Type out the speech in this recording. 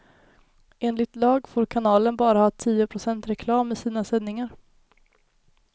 Enligt lag får kanalen bara ha tio procent reklam i sina sändningar.